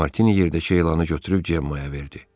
Martini yerdəki elanı götürüb Gemmaya verdi.